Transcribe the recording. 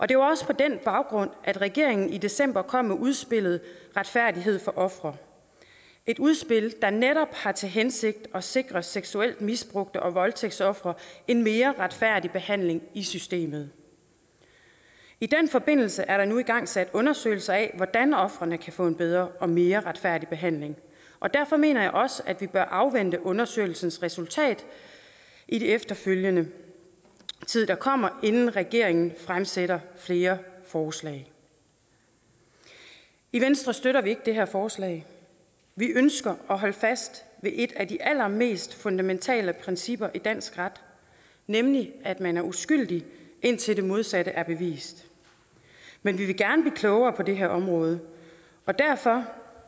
det var også på den baggrund at regeringen i december kom med udspillet retfærdighed for ofre et udspil der netop har til hensigt at sikre seksuelt misbrugte og voldtægtsofre en mere retfærdig behandling i systemet i den forbindelse er der nu igangsat undersøgelser af hvordan ofrene kan få en bedre og mere retfærdig behandling og derfor mener jeg også at vi bør afvente undersøgelsens resultat i den efterfølgende tid der kommer inden regeringen fremsætter flere forslag i venstre støtter vi ikke det her forslag vi ønsker at holde fast ved et af de allermest fundamentale principper i dansk ret nemlig at man er uskyldig indtil det modsatte er bevist men vi vil gerne blive klogere på det her område og derfor